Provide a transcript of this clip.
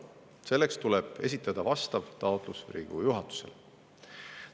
Selleks tuleb esitada vastav taotlus Riigikogu juhatusele.